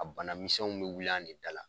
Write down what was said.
A bana misɛnw be wuli an de dala.